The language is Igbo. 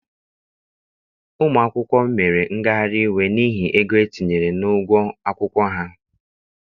Ụmụ akwụkwọ mere ngagharị iwe n'ihi ego etinyere n'ụgwọ akwụkwọ ha.